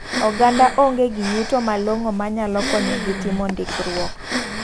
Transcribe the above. Oganda ong'e gi yuto malongo manyalo konyo gi timo ndikruok.